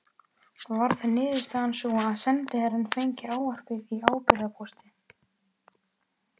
Varð niðurstaðan sú að sendiherrann fengi ávarpið í ábyrgðarpósti.